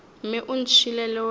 mme o ntšhiile le wena